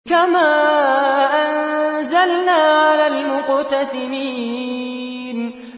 كَمَا أَنزَلْنَا عَلَى الْمُقْتَسِمِينَ